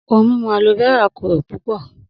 Ohun mimu Aloe vera kokoro pupọ.